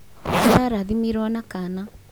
ararathimirwo na kana